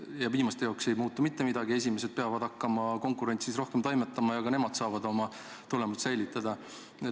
Ja viimaste jaoks ei muutu mitte midagi, esimesed aga peavad hakkama konkurentsis rohkem toimetama ja ka nemad saavad oma tulemid säilitada.